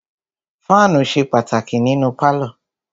Fáànù ṣe pàtàkì nínú pálọ̀.